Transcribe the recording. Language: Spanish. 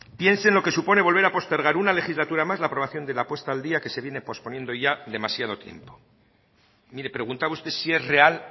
piensen lo que supone volver a postergar una legislatura más la aprobación de la puesta al día que se viene posponiendo ya demasiado tiempo mire preguntaba usted si es real